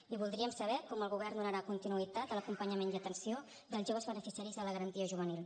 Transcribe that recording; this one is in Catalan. i voldríem saber com el govern donarà continuïtat a l’acompanyament i atenció dels joves beneficiaris de la garantia juvenil